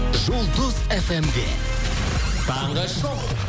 жұлдыз фм де таңғы шоу